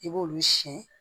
I b'olu siyɛn